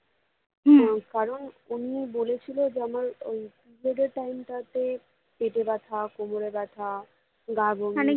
কারণ উনি বলেছিলো যে আমার ওই periods এর time টা তে পেতে ব্যথা, কোমরে ব্যথা, গা বমি